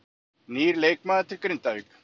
Nýr leikmaður til Grindvíkinga